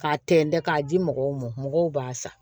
K'a tɛntɛn k'a di mɔgɔw ma mɔgɔw b'a san